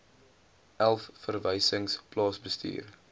elf verwysings plaasbestuur